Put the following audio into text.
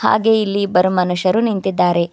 ಹಾಗೆ ಇಲ್ಲಿ ಇಬ್ಬರ ಮನುಷ್ಯರು ನಿಂತಿದ್ದಾರೆ.